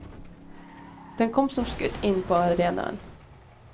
Den kom som skutt inn på arenaen.